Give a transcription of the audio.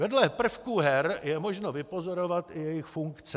Vedle prvků her je možno vypozorovat i jejich funkce.